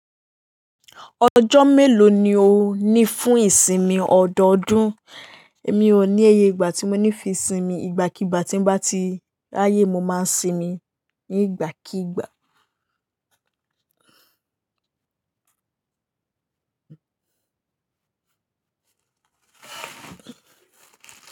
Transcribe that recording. Ọjọ́ mélòó ni o ní fún ìsinmi ọdọọdún? Mi ò ní ẹyẹ ìgbà tí mo ní fi sinmi, ìgbàkígbà tí n bá ti rayé mo máa sinmi ní ìgbàkígbà.